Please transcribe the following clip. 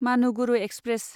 Manuguru express